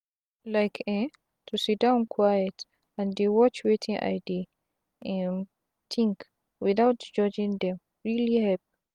like eh to siddon quiet and dey watch wetin i dey um tink without judging dem really help.